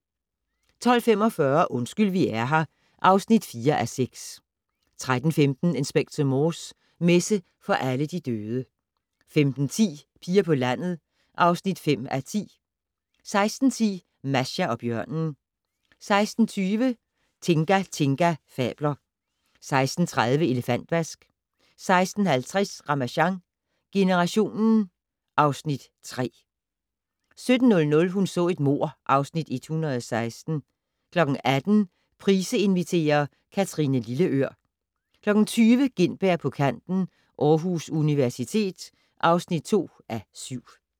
12:45: Undskyld vi er her (4:6) 13:15: Inspector Morse: Messe for alle de døde 15:10: Piger på landet (5:10) 16:10: Masha og bjørnen 16:20: Tinga Tinga fabler 16:30: Elefantvask 16:50: Ramasjang Generationen (Afs. 3) 17:00: Hun så et mord (Afs. 116) 18:00: Price inviterer - Kathrine Lilleør 20:00: Gintberg på kanten - Aarhus Universitet (2:7)